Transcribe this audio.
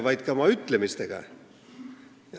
... vaid ka oma ütlemistega.